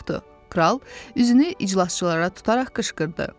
Kral üzünü iclasçılara tutaraq qışqırdı.